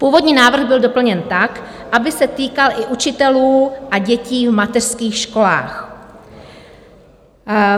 Původní návrh byl doplněn tak, aby se týkal i učitelů a dětí v mateřských školách.